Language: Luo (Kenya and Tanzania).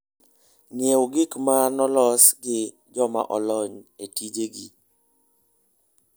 Ng'iew gik ma ne olos gi joma olony e tijegi.